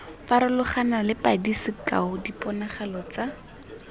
farologanale padi sekao diponagalo tsa